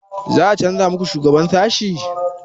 Za a canza muku shugaban sashi?